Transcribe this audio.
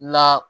La